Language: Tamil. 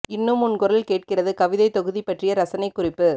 இன்னும் உன் குரல் கேட்கிறது கவிதைத் தொகுதி பற்றிய இரசனைக் குறிப்பு